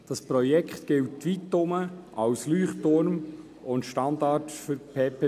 Das Projekt gilt weitherum als «Leuchtturm» und Standard für PPP.